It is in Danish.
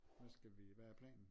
Hvad skal vi hvad er planen?